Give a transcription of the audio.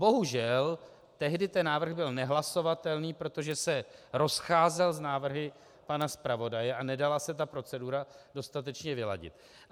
Bohužel, tehdy ten návrh byl nehlasovatelný, protože se rozcházel s návrhy pana zpravodaje a nedala se ta procedura dostatečně vyladit.